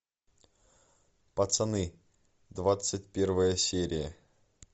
пацаны двадцать первая серия